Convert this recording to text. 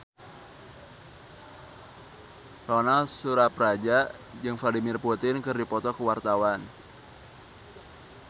Ronal Surapradja jeung Vladimir Putin keur dipoto ku wartawan